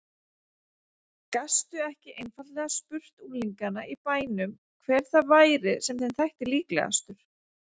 Gastu ekki einfaldlega spurt unglingana í bænum hver það væri sem þeim þætti líklegastur?